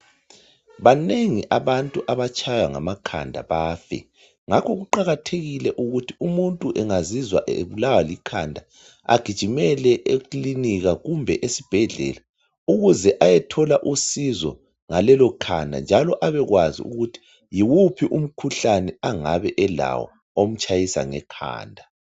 Banengi abantu abatshaywa ngamakhanda bafe ngakho kuqakathekile ukuthi umuntu engazizwa ebulawa likhanda agijimele ekilinika kumbe esibhedlela ukuze ayethola usizo njalo abekwazi ukuthi yiwuphi umkhuhlane angabe elawo omtshayisa ngekhanda.